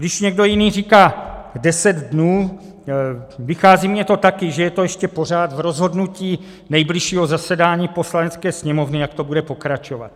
Když někdo jiný říká deset dnů, vychází mi to taky, že je to ještě pořád v rozhodnutí nejbližšího zasedání Poslanecké sněmovny, jak to bude pokračovat.